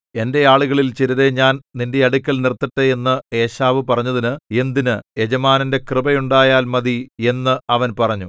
എന്റെ ആളുകളിൽ ചിലരെ ഞാൻ നിന്റെ അടുക്കൽ നിർത്തട്ടെ എന്ന് ഏശാവ് പറഞ്ഞതിന് എന്തിന് യജമാനന്റെ കൃപയുണ്ടായാൽ മതി എന്ന് അവൻ പറഞ്ഞു